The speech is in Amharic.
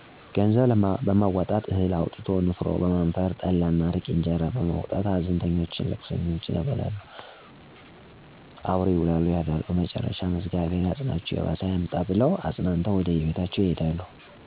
ገንዘብ በማዋጣት፣ እህል አዋቶ ንፍሮ በማነፈር፣ ጠላ እና አረቂ፣ እነጀራ በማዋጣት ሀዘንተኞቹንና ልቅሶኘውን ያበላሉ፣ አብሮ ይውላሉ ያድራሉ መጨረሻም እግዚአብሔር ያጽናቹ የባሰ አያምጣ ብለው አጽናንተው ወደየቤታቸው ይሄዳሉ።